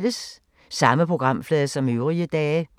Samme programflade som øvrige dage